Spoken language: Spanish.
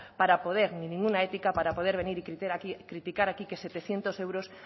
para poder ni ninguna ética para poder venir y criticar aquí que setecientos euros